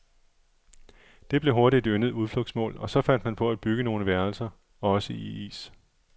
Det blev hurtigt et yndet udflugtsmål, og så fandt man på at bygge nogle værelser, også i is.